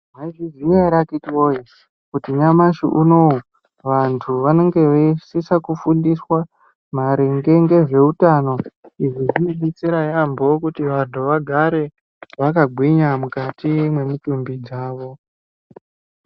Mwaizviziya ere akiti woye kuti nyamashi unowu vantu vanonga veisisa kufundiswa maringe ngezveutano. Izvi zvinodetsera yaambo kuti vantu vagare vakagwinya mukati mwemutumbi dzavo.